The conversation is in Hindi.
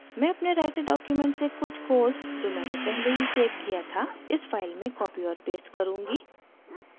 मैं अपने writer document से कुछ code जो मैंने पहले ही सेव किया था इस फाइल में copy और paste करुँगी